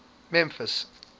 memphis